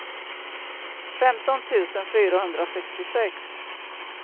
femton tusen fyrahundrasextiosex